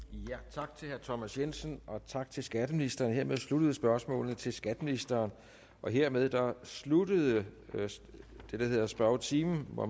tak til herre thomas jensen og tak til skatteministeren hermed sluttede spørgsmålene til skatteministeren og hermed sluttede det der hedder spørgetimen hvor